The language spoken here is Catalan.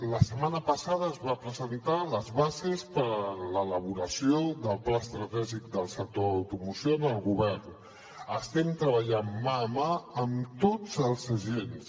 la setmana passada es van presentar les bases per l’elaboració del pla estratègic del sector de l’automoció al govern estem treballant mà a mà amb tots els agents